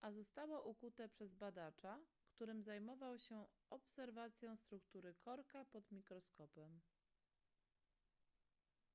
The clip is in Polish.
a zostało ukute przez badacza którym zajmował się obserwacją struktury korka pod mikroskopem